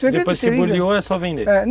vender?